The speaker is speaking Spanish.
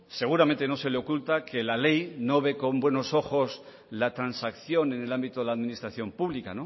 seguramente no se le oculta que la ley no ve con buenos ojos la transacción en el ámbito de la administración pública